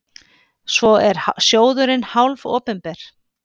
Svo er sjóðurinn hálfopinber.